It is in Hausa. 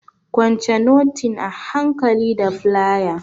Kwance notin a hankali da flaya!